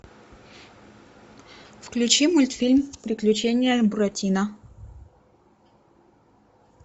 включи мультфильм приключения буратино